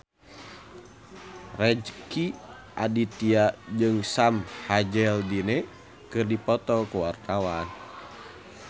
Rezky Aditya jeung Sam Hazeldine keur dipoto ku wartawan